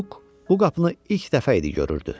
Muq bu qapını ilk dəfə idi görürdü.